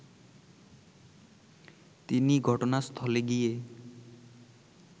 তিনি ঘটনাস্থলে গিয়ে